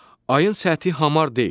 Ayın səthi hamar deyil.